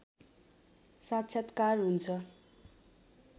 साक्षात्कार हुन्छ